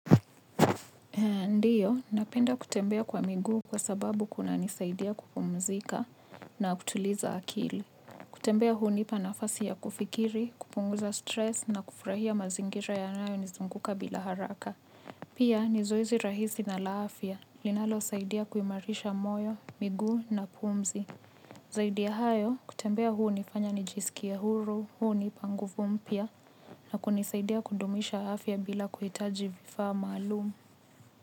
Ndiyo, napenda kutembea kwa miguu kwa sababu kunanisaidia kupumzika na kutuliza akili. Kutembea hunipa nafasi ya kufikiri, kupunguza stress na kufurahia mazingira yanayo nizunguka bila haraka. Pia, ni zoeizi rahisi na la afya, linalosaidia kuimarisha moyo, miguu na pumzi. Zaidi ya hayo, kutembea huu nifanya nijisikie huru, huu nipa nguvu mpya na kunisaidia kudumisha afya bila kuhitaji vifaa maalumu.